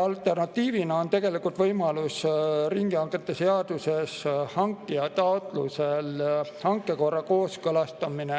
Alternatiivina on riigihangete seaduses võimalus hankija taotlusel hankekord kooskõlastada